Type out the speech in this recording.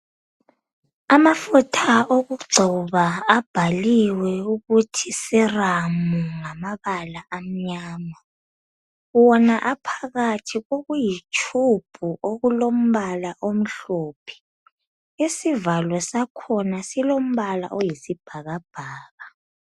Amafutha okugcoba abhaliwe ukuthi Seramu ngamabala amnyama. Wona aphakathi kokuyitshubhu okulombala omhlophe. Isivalo sakhona silombala oyisibhakabhaka.